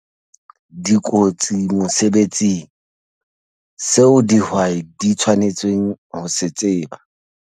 Dikotsi mosebetsing - seo dihwai di tshwanetseng ho se tseba